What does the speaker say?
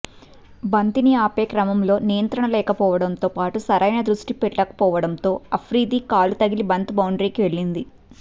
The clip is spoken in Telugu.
బంతిని ఆపే క్రమంలో నియంత్రణ లేకపోవడంతో పాటు సరైన దృష్టి పెట్టకపోవడంతో అఫ్రిది కాలు తగిలి బంతి బౌండరీకి వెళ్లింది